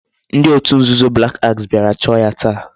Ndi otu nzuzo black axe biara choo ya taa